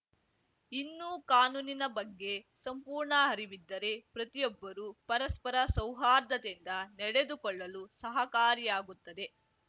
ಇನ್ನು ಕಾನೂನಿನ ಬಗ್ಗೆ ಸಂಪೂರ್ಣ ಅರಿವಿದ್ದರೆ ಪ್ರತಿಯೊಬ್ಬರೂ ಪರಸ್ಪರ ಸೌಹಾರ್ದತೆಯಿಂದ ನಡೆದುಕೊಳ್ಳಲು ಸಹಕಾರಿಯಾಗುತ್ತದೆ